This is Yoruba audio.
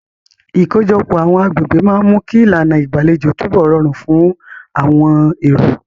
Ìkójọpọ̀ àwọn agbègbè máa ń mú kí ìlànà ìgbàlejò túbọ̀ rọrùn fún àwọn èrò.